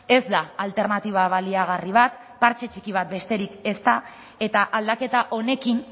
ez da alternatiba baliagarri bat partxe txiki bat besterik ez da eta aldaketa honekin